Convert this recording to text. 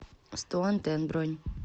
сто антенн бронь